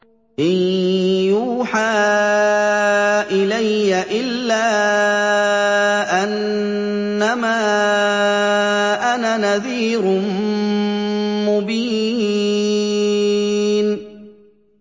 إِن يُوحَىٰ إِلَيَّ إِلَّا أَنَّمَا أَنَا نَذِيرٌ مُّبِينٌ